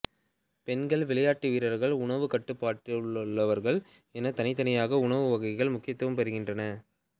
பெண்கள் விளையாட்டு வீரர்கள் உணவுக் கட்டுப்பாட்டிலுள்ளவர்கள் என தனித்தனியாக உணவு வகைகள் முக்கியத்துவம் பெறுகின்றன